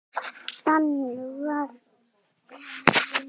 Þannig muni sum gen varðveitast umfram önnur með tímanum af tveimur ástæðum.